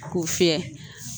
K'o fiyɛ